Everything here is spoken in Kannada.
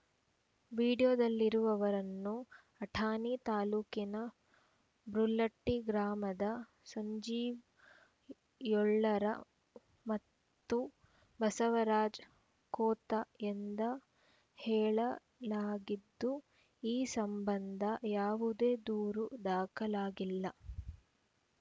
ವಿಡಿಯೋದಲ್ಲಿರುವವರನ್ನು ಅಥಾಣಿ ತಾಲೂಕಿನ ಬುರ್ಲಟ್ಟಿ ಗ್ರಾಮದ ಸಂಜೀವ ಯಳ್ಳೂರ ಮತ್ತು ಬಸವರಾಜ ಖೋತ ಎಂದು ಹೇಳಲಾಗಿದ್ದು ಈ ಸಂಬಂಧ ಯಾವುದೇ ದೂರು ದಾಖಲಾಗಿಲ್ಲ